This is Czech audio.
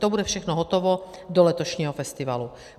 To bude všechno hotovo do letošního festivalu.